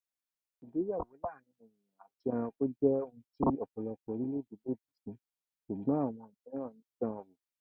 Ìgbéyàwó láàárín èèyàn àti e̩ranko jé̩ ohun tí ò̩pò̩lo̩pò̩ orílè̩-èdè lòdì sí s̩ùgbó̩n àwo̩n mìíràn ń danwò